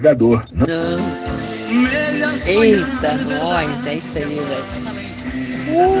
эйса гонсалес